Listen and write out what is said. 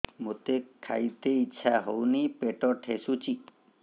ମୋତେ ଖାଇତେ ଇଚ୍ଛା ହଉନି ପେଟ ଠେସୁଛି